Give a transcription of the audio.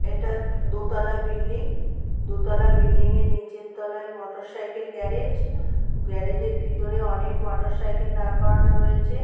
এটা দ-দোতলা বিল্ডিং দুতলা বিল্ডিং - এর নিচের তলায় মোটরসাইকেল গ্যারেজ গ্যারেজের ভিতরে অনেক মোটরসাইকেল দাঁড় করানো রয়েছে।